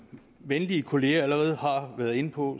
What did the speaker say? venlige kolleger allerede har været inde på